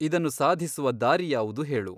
ಇದನ್ನು ಸಾಧಿಸುವ ದಾರಿ ಯಾವುದು ಹೇಳು ?